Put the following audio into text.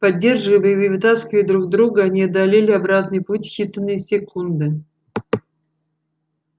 поддерживая и вытаскивая друг друга они одолели обратный путь в считанные секунды